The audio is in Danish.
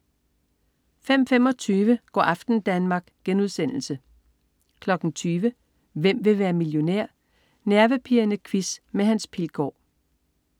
05.25 Go' aften Danmark* 20.00 Hvem vil være millionær? Nervepirrende quiz med Hans Pilgaard